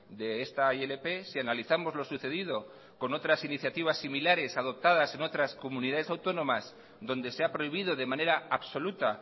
de esta ilp si analizamos lo sucedido con otras iniciativas similares adoptadas en otras comunidades autónomas donde se ha prohibido de manera absoluta